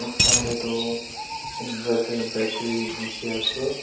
boxa teh toh inviter battery dikhi ase.